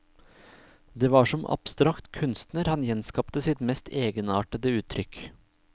Det var som abstrakt kunstner han skapte sitt mest egenartede uttrykk.